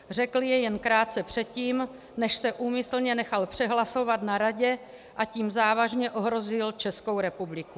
Řekl je jen krátce předtím, než se úmyslně nechal přehlasovat na Radě, a tím závažně ohrozil Českou republiku.